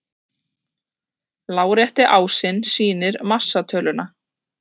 Lárétti ásinn sýnir massatöluna.